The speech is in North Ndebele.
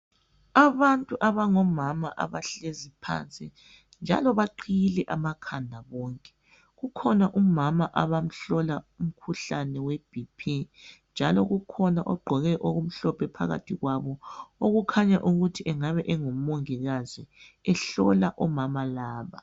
Abantu abangomama abahleziyo phansi njalo baqiyile amakhanda bonke ukhona umama abamhlola umkhuhlane weBP njalo kukhona ogqoke okumhlophe phakathi kwabo okukhanya ukuthi engabe engumongikazi ehlola umama laba.